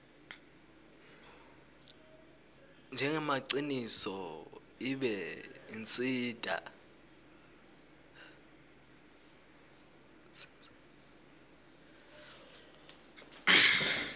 njengemaciniso ibe itsintsa